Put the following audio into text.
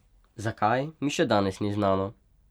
Zakaj, mi še danes ni znano.